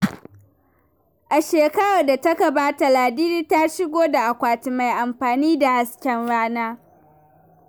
A shekarar da ta gabata, Ladidi ta shigo da akwati mai amfani da hasken rana.